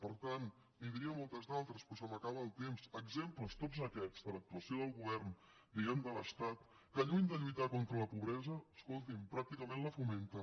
per tant li’n diria molts altres però se m’acaba el temps d’exemples tots aquests de l’actuació del govern diguem ne de l’estat que lluny de lluitar contra la pobresa escolti’m pràcticament la fomenta